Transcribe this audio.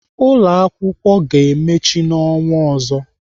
Ụlọakwụkwọ ga-emechi n'ọnwa ọzọ.